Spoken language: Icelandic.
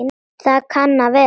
Það kann að vera